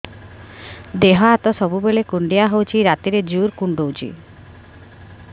ଦେହ ହାତ ସବୁବେଳେ କୁଣ୍ଡିଆ ହଉଚି ରାତିରେ ଜୁର୍ କୁଣ୍ଡଉଚି